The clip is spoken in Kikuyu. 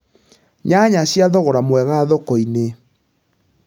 nyanya cia thogora mwega thoko-inĩ